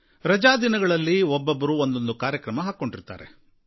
ರಜಾದಿನಗಳಲ್ಲಿ ಒಬ್ಬೊಬ್ಬರು ಒಂದೊಂದು ಕಾರ್ಯಕ್ರಮ ಹಾಕಿಕೊಂಡಿರ್ತಾರೆ